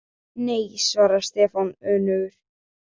Nei svaraði Stefán önugur.